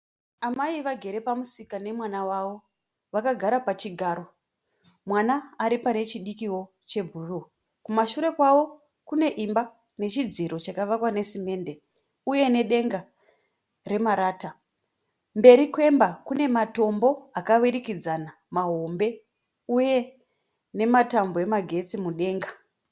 Amai vagere pamusika nemwana wavo. Vakagara pachigaro mwana ari pane chidikio chebhuruu. Kumashure kwavo kune imba nechidziro chakavakwa nesimende uye nedenga remarata. Mberi kwemba kune matombo akavirikidzana mahombe uye nematambo emagetsi mudenga.